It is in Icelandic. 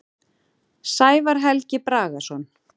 Sævar Helgi Bragason.